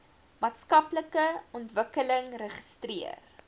maatskaplike ontwikkeling registreer